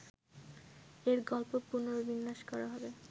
এর গল্প পুনর্বিন্যাস করা হবে